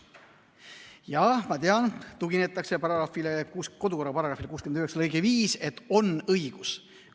Jah, ma tean, tuginetakse paragrahvile, kodukorra § 69 lõikele 5, sellele, et on see õigus.